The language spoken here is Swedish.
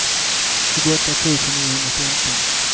tjugoåtta tusen niohundrafemton